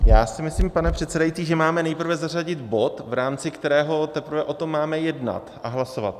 Já si myslím, pane předsedající, že máme nejprve zařadit bod, v rámci kterého teprve o tom máme jednat a hlasovat.